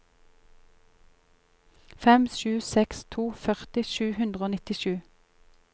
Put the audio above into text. fem sju seks to førti sju hundre og nittisju